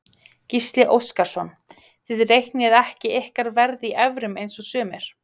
Gísli Óskarsson: Þið reiknið ekki ykkar verð í evrum eins og sumir?